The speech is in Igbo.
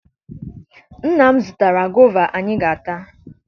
Nna m zụtara gova anyị ga-ata